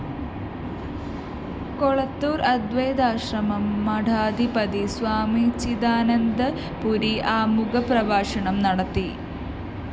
കൊളത്തൂര്‍ അദൈ്വതാശ്രമം മഠാധിപതി സ്വാമി ചിദാനന്ദപുരി ആമുഖപ്രഭാഷണം നടത്തി